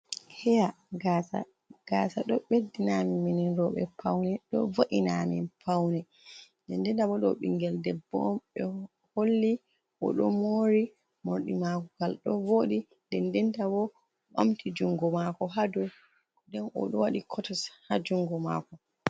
Heya, Gasa Gasa ɗo Ɓeddina Amin minin Roɓe Paune, ɗo Vo’ina amin Paune, nden ndenta bo ɗo Ɓingel Debbo ɓe Holli oɗo Mori Morɗi Makogal do vodi nden ndenta bo oɓamti Jungo Mako ha dou nden oɗo Waɗi Kotisi ha Jungo Mako.